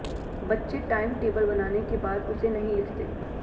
बच्चे time table बनाने के बाद उसे नहीं लिखते